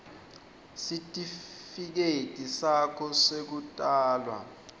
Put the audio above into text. sitifiketi sakho sekutalwa